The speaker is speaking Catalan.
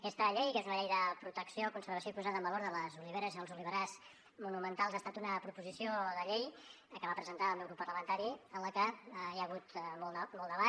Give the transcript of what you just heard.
aquesta llei que és una llei de protecció conservació i posada en valor de les oliveres i els oliverars monumentals ha estat una proposició de llei que va presentar el meu grup parlamentari en la que hi ha hagut molt debat